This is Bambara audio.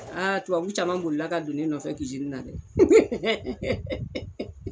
tubabu caman bolila ka don ne nɔfɛ na dɛ